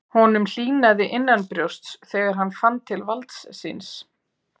Honum hlýnaði innanbrjósts þegar hann fann til valds síns.